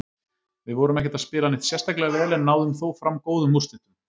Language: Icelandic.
Við vorum ekkert að spila neitt sérstaklega vel, en náðum þó fram góðum úrslitum.